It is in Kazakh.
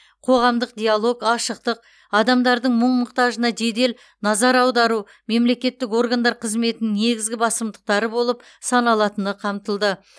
қоғамдық диалог ашықтық адамдардың мұң мұқтажына жедел назар аудару мемлекеттік органдар қызметінің негізгі басымдықтары болып саналатыны қамтылды